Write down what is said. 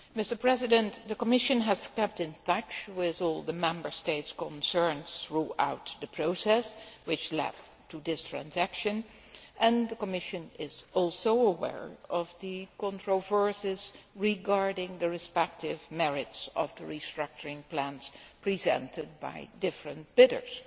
Mr President, the Commission has kept in touch with all the Member States concerned throughout the process which led to this transaction and the Commission is also aware of the controversies regarding the respective merits of the restructuring plans presented by different bidders,